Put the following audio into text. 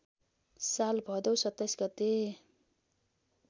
साल भदौ २७ गते